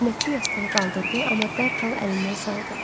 Xidmətçi yastığı qaldırdı, amma dərhal əlindən saldı.